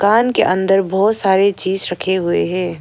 कान के अंदर बहुत सारे चीज रखे हुए हैं।